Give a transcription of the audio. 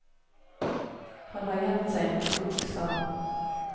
Han har gjemt seg i en krok, sa han.